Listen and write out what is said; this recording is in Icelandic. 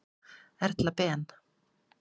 Erla Ben.